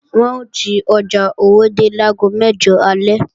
Wọn ò ti ọjà Owódé láago mẹ́jọ alẹ́